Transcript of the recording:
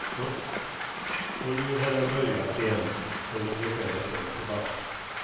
Och nu har jag börjat igen sen ungefär ett år tillbaks.